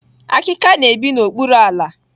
akịka na-ebi n'okpuru ala.